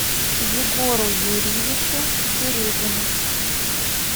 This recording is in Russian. егору юрьевичу середину